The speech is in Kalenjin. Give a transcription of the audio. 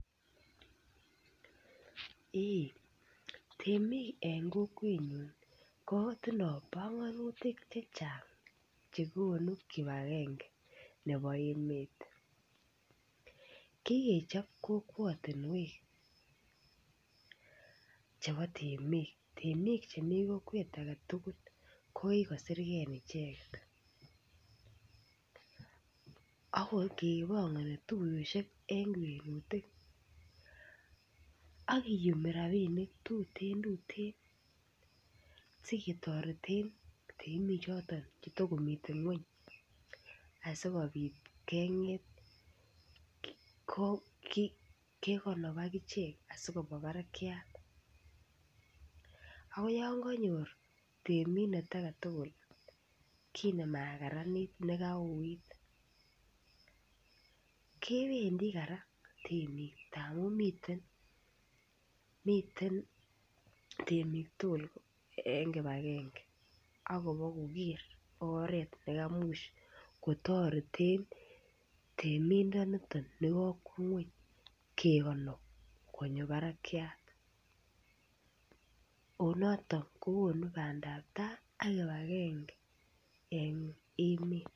Eh, temik eng kokwennyu kotindoi panganutik chechang' che konuu kipagenge nebo emet. Kikechop kokwatinwek chebo temik. Temik chemi kokwet agetugul ko kikosirgei icheket. Ako kepangani tuiyoshek eng rerutik ak kiyumi rapinik tuteen tuteen siketoreten temichoton chetakomiten ng'uny asikopiit keng'et kekanop akichek asikopwa barakiat. Ako yan kanyor temindet aketugul kit nemakararanit nekauit kebendi kora temik amun miteen, miteen temik tugul eng kibagenge. Akopa koker oret ne kemuuch kotareten temindaniton nepo ngwony kekanop konyo barakiat. Ako notok kokonu bandaptai ak kibagenge eng emet.